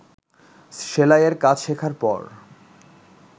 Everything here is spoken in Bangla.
সেলাইয়ের কাজ শেখার পর